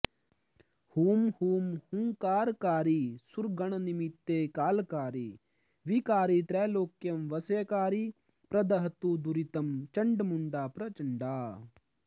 ह्रुं ह्रुं ह्रुङ्कारकारी सुरगणनमिते कालकारी विकारी त्र्यैलोक्यं वश्यकारी प्रदहतु दुरितं चण्डमुण्डा प्रचण्डा